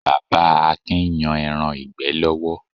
Bàbá Akin ń yan ẹran ìgbẹ́ lọ́wọ́.